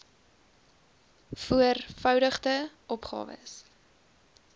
voor voudigde opgawes